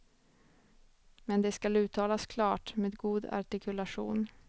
Men det skall uttalas klart, med god artikulation.